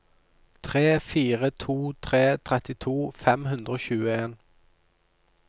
tre fire to tre trettito fem hundre og tjueen